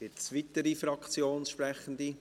Gibt es weitere Fraktionssprechende?